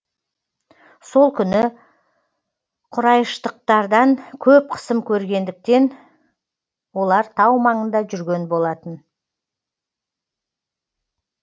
сол күні құрайыштықтардан көп қысым көргендіктен олар тау маңында жүрген болатын